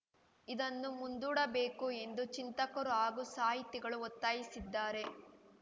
ಇದನ್ನು ಮುಂದೂಡಬೇಕು ಎಂದು ಚಿಂತಕರು ಹಾಗೂ ಸಾಹಿತಿಗಳು ಒತ್ತಾಯಿಸಿದ್ದಾರೆ